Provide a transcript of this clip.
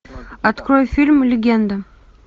открой фильм легенда